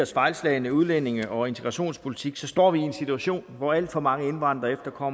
fejlslagne udlændinge og integrationspolitik står vi i en situation hvor alt for mange indvandrere og